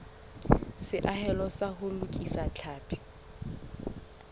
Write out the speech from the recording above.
seahelo sa ho lokisa tlhapi